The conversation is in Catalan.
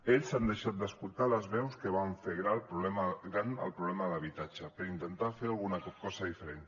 ells han deixat d’escoltar les veus que van fer gran el problema de l’habitatge per intentar fer alguna cosa diferent